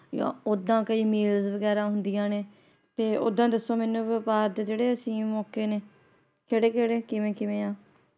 ਓਹਦਾ ਕਈ ਮੇਲਸ ਵਗੈਰਾ ਹੁੰਦੀਆਂ ਨੇ ਤੇ ਓਹਦਾ ਦੱਸੋ ਮੈਨੂੰ ਵ੍ਯਾਪਾਰ ਦੇ ਜੇੜੇ ਅਸੀਮ ਮੌਕੇ ਨੇ ਕੇੜੇ-ਕੇੜੇ ਕਿਵੇਂ-ਕਿਵੇਂ ਹਾਂ ।